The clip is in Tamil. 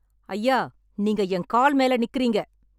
ஐயா நீங்க என் கால் மேல நிக்குரீங்க